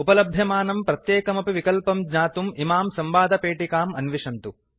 उपलभ्यमानं प्रत्येकमपि विकल्पं ज्ञातुम् इमां संवादपेटिकाम् अन्विषन्तु